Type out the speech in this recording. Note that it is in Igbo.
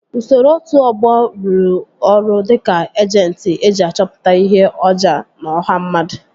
Usoro otu ọgbọ ruru ọrụ dịka ejentị eji achọpụta ihe oja n'ọha mmadụ